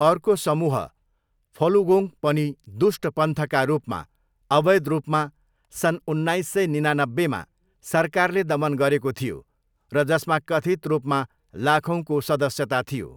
अर्को समूह, फलुगोङ्ग पनि 'दुष्ट पन्थ' का रूपमा अवैध रूपमा सन् उन्नाइस सय निनानब्बेमा सरकारले दमन गरेको थियो र जसमा कथित् रूपमा लाखौँको सदस्यता थियो।